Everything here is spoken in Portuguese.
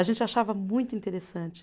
A gente achava muito interessante.